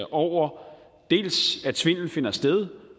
over dels at svindelen finder sted